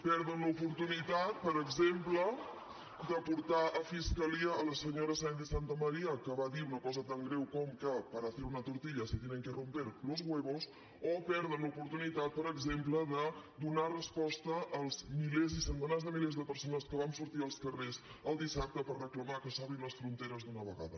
perden l’oportunitat per exemple de portar a fiscalia a la senyora sáenz de santamaría que va dir una cosa tan greu com que para hacer una tortilla se tienen que romper los huevos o perden l’oportunitat per exemple de donar resposta als milers i centenars de milers de persones que vam sortir als carrers el dissabte per reclamar que s’obrin les fronteres d’una vegada